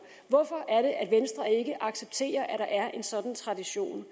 hvorfor er det at venstre ikke accepterer at der er en sådan tradition